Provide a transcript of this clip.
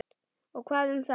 Og hvað um það!